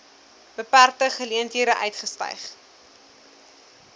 beperkte geleenthede uitgestyg